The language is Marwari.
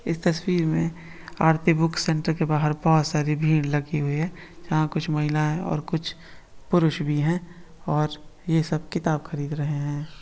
इस तस्वीर मे आरती बुक सेंटर के बाहर बहुत सारी भीड़ लगी हुई है यहा कुछ महिलाऐं और कुछ पुरुष भी है और ये सब किताब खरीद रहे है।